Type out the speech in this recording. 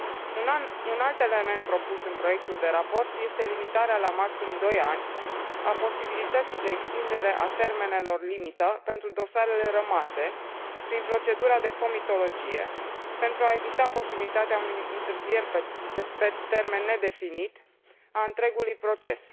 Un alt element propus în proiectul de raport este limitarea la maxim 2 ani a posibilității de extindere a termenelor limită pentru dosarele rămase prin procedura de comitologie, pentru a evita posibilitatea întârzierii pe termen nedefinit a întregului proces.